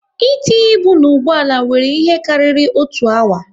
E tinye ibu na ụgbọala wéré ihe karịrị otu awa